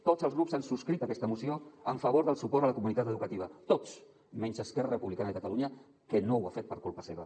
tots els grups han subscrit aquesta moció en favor del suport a la comunitat educativa tots menys esquerra republicana de catalunya que no ho ha fet per culpa seva